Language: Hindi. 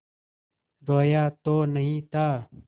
रोया तो नहीं था